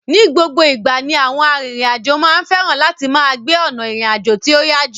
Ni gbogbo ìgbà ni àwọn arìnrìn àjò máa ń fẹ́ràn láti máa gbé ọ̀nà ìrìn àjò tí ó yá jù.